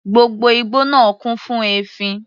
Gbogbo igbó náà kún fún èéfín.